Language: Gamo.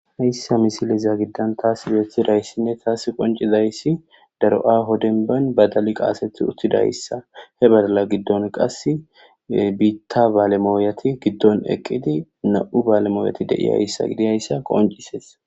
Hayssa misiliza giddan taas beeththidayssinne taas qoncidayssi daro7a hodenbayn badali qaaseth uttidayssa he badala giddon qas biitta baalemooyati giddon eqqidi na'u baalemooyeti deiyayssa gidiyayssa qoncises